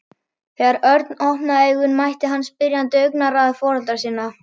Þegar Örn opnaði augun mætti hann spyrjandi augnaráði foreldra sinna.